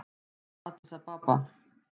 Addis Ababa